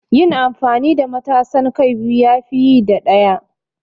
Yin amfani da matasan kai biyu ya fi yi da ɗaya.